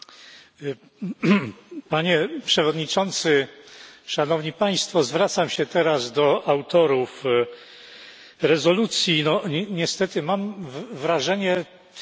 Panie Przewodniczący! Szanowni Państwo! Zwracam się teraz do autorów rezolucji niestety mam wrażenie teatru absurdu.